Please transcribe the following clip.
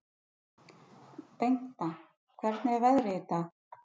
Bengta, hvernig er veðrið í dag?